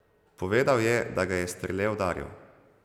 Povedal je, da ga je Strle udaril.